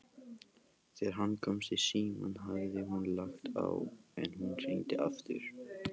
Þegar hann komst í símann hafði hún lagt á, en hún hringdi aftur.